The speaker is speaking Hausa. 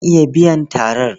Zan iya biyan tarar.